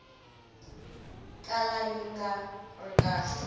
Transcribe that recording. kala yi nga ri kahle